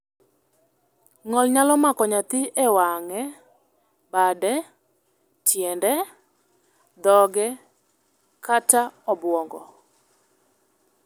Ng'ol nyalo mako nyathi e wang'e, bade, tiende, dhoge, kata obuongo.